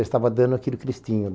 Eu estava dando aquele cristinho.